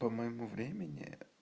по моему времени